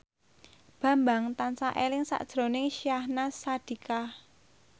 Bambang tansah eling sakjroning Syahnaz Sadiqah